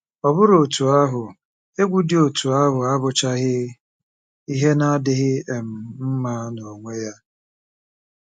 Ọ bụrụ otú ahụ, egwu dị otú ahụ abụchaghị ihe na-adịghị um mma n'onwe ya.